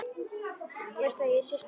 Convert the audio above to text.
Veistu að ég er systir þín.